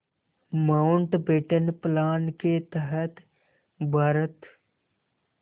Mountbatten plan के तहत भारत